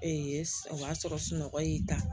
o y'a sɔrɔ sunɔgɔ y'i ta